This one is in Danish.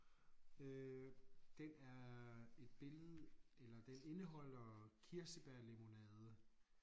Øh den er et billede eller den indeholder kirsebærlimonade